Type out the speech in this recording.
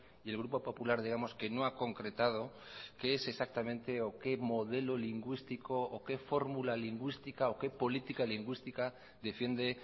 y el grupo popular digamos que no ha concretado que es exactamente o qué modelo lingüístico o qué formula lingüística o qué política lingüística defiende